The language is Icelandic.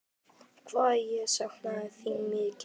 Hvað ég sakna þín mikið.